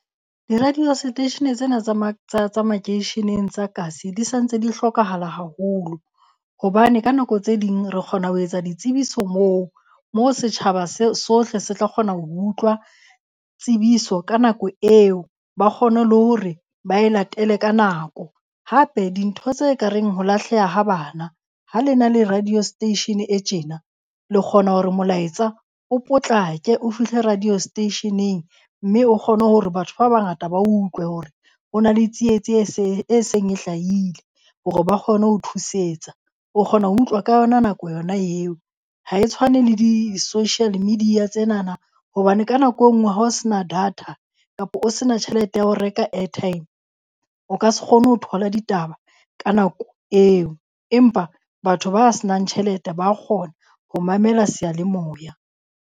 Di-radio seteishene tsena tsa tsa makeisheneng tsa kasi di sa ntse di hlokahala haholo. Hobane ka nako tse ding re kgona ho etsa ditsebiso moo, moo setjhaba sohle se tla kgona ho utlwa tsebiso ka nako eo ba kgone le hore ba e latele ka nako. Hape, dintho tse ka reng ho lahleha ha bana ha le na le radio station e tjena le kgona hore molaetsa o potlake o fihle radio station-eng mme o kgone hore batho ba bangata ba utlwe hore ho na le tsietsi e seng e hlahile hore ba kgone ho thusetsa. O kgona ho utlwa ka yona nako yona eo. Ha e tshwane le di-social media tsenana hobane ka nako engwe ha o se na data kapa o se na tjhelete ya ho reka airtime, o ka se kgone ho thola ditaba ka nako eo, empa batho ba se nang tjhelete ba kgona ho mamela seyalemoya.